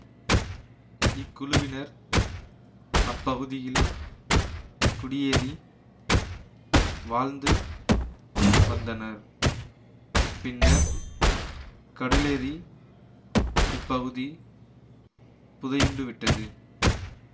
இக்குழுவினர் அப்பகுதியில் குடியேறி வாழ்ந்து வந்தனர் பின்னர் கடலேறி இப்பகுதி புதையுண்டுவிட்டது